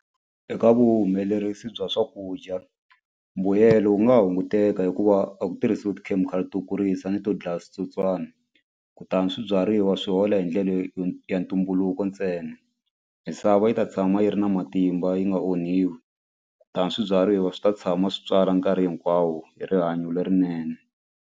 Eka vuhumelerisi bya swakudya mbuyelo wu nga hunguteka hikuva a ku tirhisiwi tikhemikhali to kurisa ni to dlaya switsotswani kutani swibyariwa swi hola hi ndlela leyo ya ntumbuluko ntsena misava yi ta tshama yi ri na matimba yi nga onhiwi kutani swibyariwa swi ta tshama swi tswala nkarhi hinkwawo hi rihanyo lerinene.